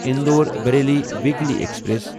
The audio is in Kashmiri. Indore Bareilly weekly express